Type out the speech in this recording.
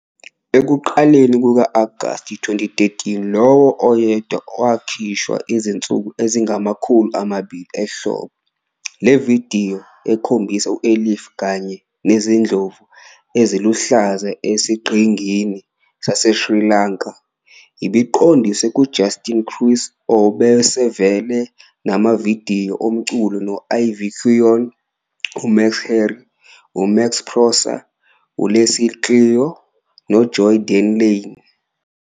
Ekuqaleni kuka-Agasti 2013, lowo oyedwa wakhishwa izinsuku ezingama-200 ehlobo. Le vidiyo, ekhombisa u-Elif kanye nezindlovu eziluhlaza esiqhingini saseSri Lanka, ibiqondiswe nguJustin Kruse, obesevele enamavidiyo omculo no-Ivy Quainoo, uMax Herre, uMax Prosa, uLeslie Clio noJoy Dena Lane.